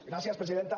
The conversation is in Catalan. gràcies presidenta